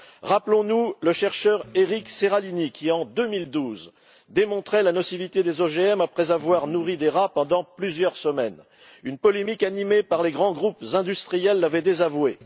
Rappelons nous le chercheur Gilles Eric Séralini, qui, en 2012, démontrait la nocivité des OGM après avoir nourri des rats pendant plusieurs semaines une polémique animée par les grands groupes industriels l'avait désavoué.